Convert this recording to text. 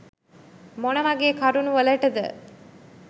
මොනවගේ කරුනු වලටද?